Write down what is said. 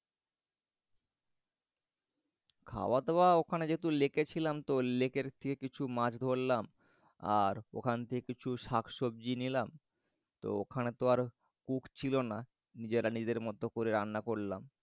খাওয়া দাওয়া ওখানে যেহেতু লেকে ছিলাম তো লেকের থেকে কিছু মাছ ধরলাম ওখান থেকে কিছু শাক সবজি নিলাম তো ওখানে তো আর cook ছিল না নিজেরা নিজেদের মত করে রান্না করলাম।